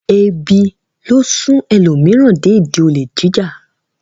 Ebi ló sún ẹlòmíràn dé ìdí olè jíjà.